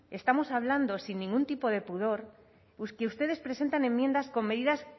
estamos hablando sin ningún tipo de pudor pues que ustedes presentan enmiendas con medidas